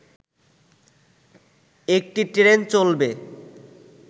একটি ট্রেন চলবে